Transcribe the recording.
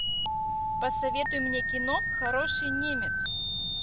посоветуй мне кино хороший немец